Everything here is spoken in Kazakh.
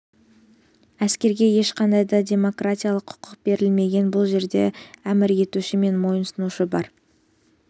әскерге ешқандай да демократиялық құқық берілмеген бұл жерде әмір етуші мен мойынсұнушы бар